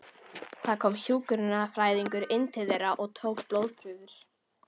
Það kom hjúkrunarfræðingur inn til þeirra og tók blóðprufur.